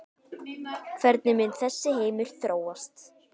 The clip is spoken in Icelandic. Hvernig mun þessi heimur þróast?